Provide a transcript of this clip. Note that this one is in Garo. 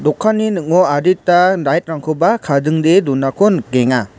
dokanni ning·o adita light-rangkoba kadingdee donako nikenga.